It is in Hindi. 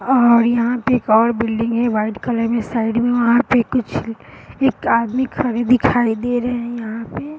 अ-यहाँ पे एक और बिल्डिंग है वाइट कलर में साइड में और वहाँ पे कुछ एक आदमी खड़े दिखाई दे रहे हैं यहाँ पे |